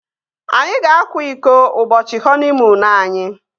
Anyị ga-akwa iko ụbọchị họniimuunu anyi